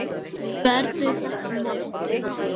Verður þetta mótið hans?